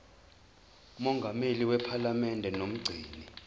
mongameli wephalamende nomgcini